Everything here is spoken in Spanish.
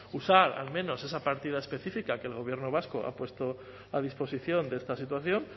usar al menos esa partida específica que el gobierno vasco ha puesto a disposición de esta situación